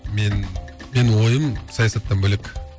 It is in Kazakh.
мен менің ойым саясаттан бөлек